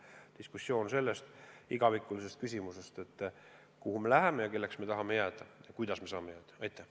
See on diskussioon igavikulisest küsimusest, kuhu me läheme ja kelleks me tahame jääda ja kuidas me saame selleks jääda.